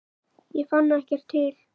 Ég fann ekkert til.